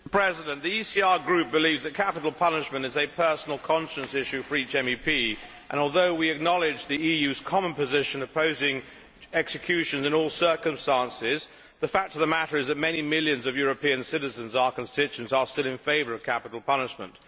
Mr President, the ECR Group believes that capital punishment is a personal conscience issue for each MEP and, although we acknowledge the EU's common position opposing execution in all circumstances, the fact of the matter is that many millions of European citizens, our constituents, are still in favour of capital punishment.